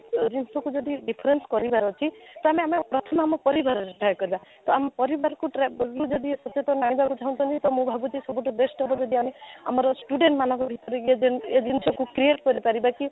reissue ଯଦି different କରିବାର ଅଛି ତାହେଲେ ଆମେ ପ୍ରଥମେ ଆମ ପରିବାରର try କରିବା ତ ଆମ ପରିବାରକୁ try ବୋଲି ସଚେତନ ଆଣିବାକୁ ଚାହୁଁଛନ୍ତି ତ ମୁଁ ଭାବୁଛି ସବୁଠୁ best ହେବ ଯଦି ଆମେ ଆମର student ମାନଙ୍କୁ ଭିତରେ ବି ଏ ଜିନିଷ ଏ ଜିନିଷକୁ create କରି ପାରିବ କି